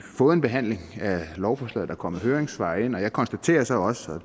fået en behandling af lovforslaget er kommet høringssvar ind og jeg konstaterer så også og